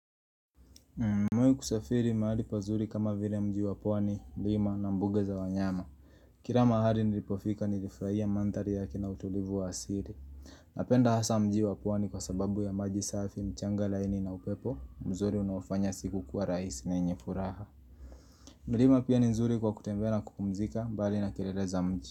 Nimewahi kusafiri mahali pazuri kama vile mji wa pwani, milima na mbuge za wanyama. Kila mahali nilipofika nilifurahia mandhari yake na utulivu wa asili Napenda hasa mji wa pwani kwa sababu ya maji safi mchanga laini na upepo, mzuri unaofanya siku kuwa rahisi na yenye furaha milima pia ni nzuri kwa kutembea na kupumzika, mbali na kelele za mji.